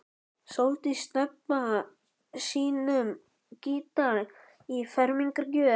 Sóldís Stebba sínum gítar í fermingargjöf.